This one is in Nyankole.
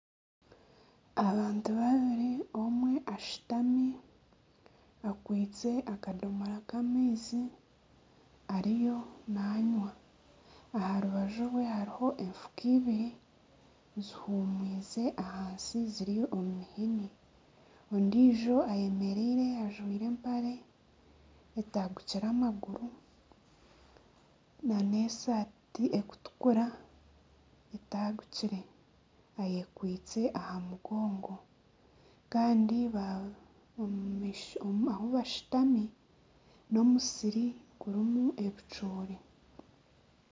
Abantu babiri omwe ashutami akwitse akadomora k'amaizi ariyo nanywa. Aha rubaju rwe hariho efuka Ibiri zihumwize ahansi ziri omu mihini. Ondiijo ayemereire ajwire empare etagukire amaguru, n'esaati erikutukura etagukire. Ayekwitse aha mugongo kandi ahu bashutami, n'omusiri gurimu ebicoori.